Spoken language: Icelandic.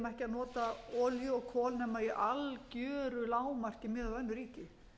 nota olíu og kol nema í algjöru lágmarki miðað við önnur ríki